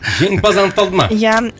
жеңімпаз анықталды ма иә